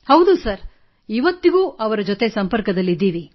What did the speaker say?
ಹೌದು ಸರ್ ಇಂದಿಗೂ ಅವರೊಂದಿಗೆ ಸಂಪರ್ಕದಲ್ಲಿದ್ದೇವೆ